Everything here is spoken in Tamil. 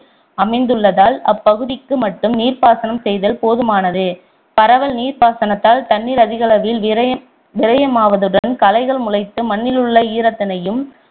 அமைந்துள்ளதால் அப்பகுதிக்கு மட்டும் நீர்ப்பாசனம் செய்தல் போதுமானது பரவல் நீர்ப்பாசனத்தால் தண்ணீர் அதிகளவில் விரையமாவதுடன் களைகள் முளைத்து மண்ணிலுள்ள ஈரத்தினையும்